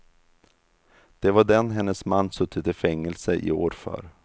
Det var den hennes man suttit i fängelse i år för.